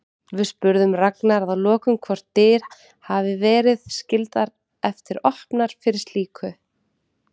Við spurðum Ragnar að lokum hvort dyr hafi verið skyldar eftir opnar fyrir slíku?